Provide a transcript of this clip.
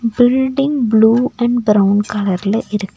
building blue and brown கலர்ல இருக்--